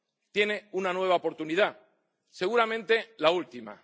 Tiene una nueva oportunidad, seguramente la última.